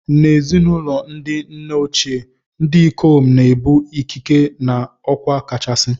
N'ezinụlọ ndi nna ochie, ndị ikom na-ebu ikike na okwa kachasị